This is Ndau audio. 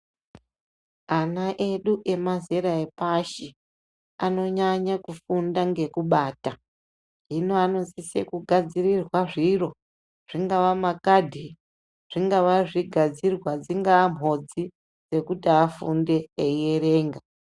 Ana edu emazera epashi anonyanye kufunda ngekubata, hino anosisa kugadzirirwa zviro zvingaa makhadhi, zvinga zvigadzidwa, dzingaa mhodzi dzekuti afunde eyi erenga.